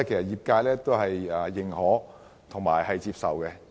業界對此表示認可及接受。